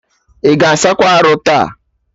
Ị ga asakwa arụ taa?